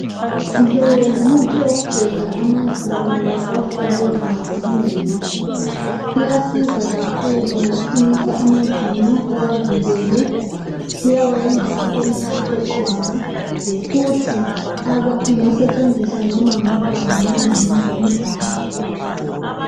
Lo ngumuthi wokugeza amazinyo wakwa forever living. Uyasiza kakhulu ngokuqinisa amazinyo uwavikele, uyawayenza abemhlophe qwaka futhi ingasetshenziswa noma ngumntwana noma ngumuntu omdala.